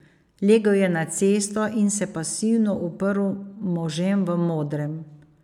Legel je na cesto in se pasivno uprl možem v modrem.